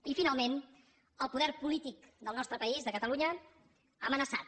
i finalment el poder polític del nostre país de catalunya amenaçat